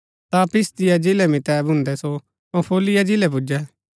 ता पिसिदिया जिलै मितै भून्दै सो पंफूलिया जिलै पुजै